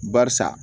Barisa